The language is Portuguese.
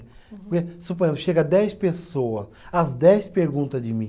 Suponhamos, chega dez pessoa, as dez pergunta de mim.